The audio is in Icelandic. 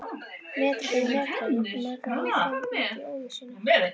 Metra fyrir metra mjakaði ég mér áfram út í óvissuna.